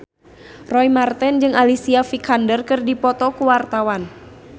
Roy Marten jeung Alicia Vikander keur dipoto ku wartawan